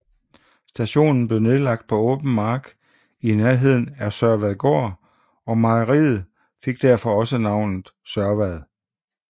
Stationen blev anlagt på åben mark i nærheden af Sørvadgård og mejeriet og fik derfor også navnet Sørvad